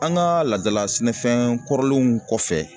An ka laadala sɛnɛfɛn kɔrɔlenw kɔfɛ